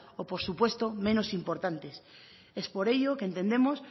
o por supuestos menos importantes es por ello que entendemos